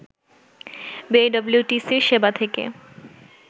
বিআইডব্লিউটিসির সেবা থেকে